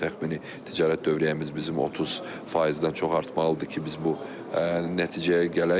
Bu təxmini ticarət dövriyyəmiz bizim 30 faizdən çox artmalıdır ki, biz bu nəticəyə gələk.